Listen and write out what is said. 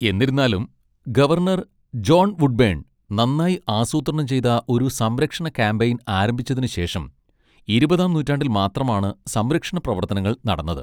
എന്നിരുന്നാലും, governor John Woodburn നന്നായി ആസൂത്രണം ചെയ്ത ഒരു സംരക്ഷണ കാമ്പയിൻ ആരംഭിച്ചതിന് ശേഷം ഇരുപതാം നൂറ്റാണ്ടിൽ മാത്രമാണ് സംരക്ഷണ പ്രവർത്തനങ്ങൾ നടന്നത്.